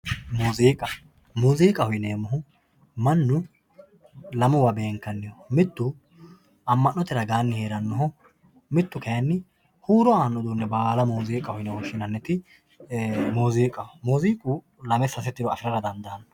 muuziiqa muuziiqaho yineemmohu mannu lamewa beenkanniho mittu mannu amma'note ragaanni heerannoho mittu kayiinni huuro aanno uduunne baala muuziiqaho yine woshshinanniti muuziiqaho muziiqu lame sase tiro afirara dandaanno.